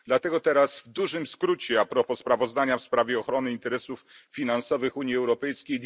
Dlatego teraz w dużym skrócie dwie uwagi propos sprawozdania w sprawie ochrony interesów finansowych Unii Europejskiej.